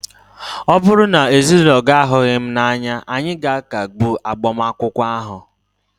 ọ bụrụ na ezinụlọ gị ahụghị m n'anya, anyị ga-akagbu agbamakwụkwọ ahụ